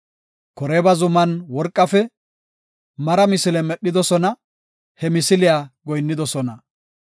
Koreeba zuman worqafe mara misile medhidosona; he misiliya goyinnidosona.